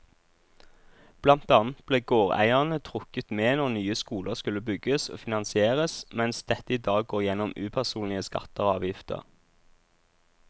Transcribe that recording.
Blant annet ble gårdeierne trukket med når nye skoler skulle bygges og finansieres, mens dette i dag går gjennom upersonlige skatter og avgifter.